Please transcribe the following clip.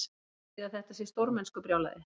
Haldiði að þetta sé stórmennskubrjálæði?